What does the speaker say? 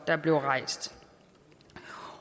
der blev rejst